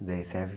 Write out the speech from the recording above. E daí serve?